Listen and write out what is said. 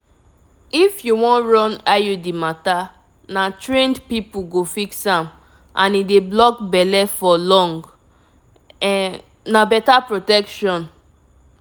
if you wan run iud matter na trained people go fix am and e dey block belle for long um na better protection!